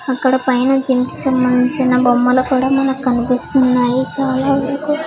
అక్కడ పైన జిమ్ కి సంబంధించిన బొమ్మలు కూడా మనకి కనిపిస్తున్నాయి చాలా వరకు.